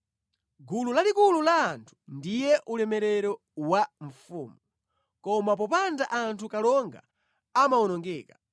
Gulu lalikulu la anthu ndiye ulemerero wa mfumu, koma popanda anthu kalonga amawonongeka.